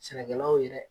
Sɛnɛkɛlaw ye dɛ